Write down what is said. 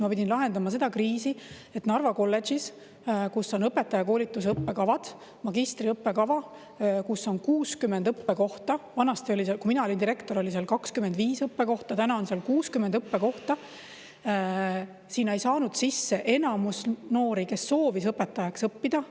Ma pidin lahendama seda kriisi, et Narva kolledžisisse, kus on õpetajakoolituse õppekavad, magistriõppekava, kus on 60 õppekohta – vanasti, kui mina olin direktor, oli seal 25 õppekohta, täna on seal 60 õppekohta –, ei saanud sisse enamus noori, kes soovis õpetajaks õppida.